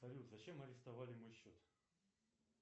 салют зачем арестовали мой счет